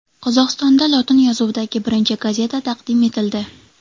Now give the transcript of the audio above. Qozog‘istonda lotin yozuvidagi birinchi gazeta taqdim etildi.